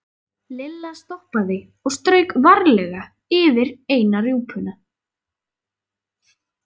Lilla stoppaði og strauk varlega yfir eina rjúpuna.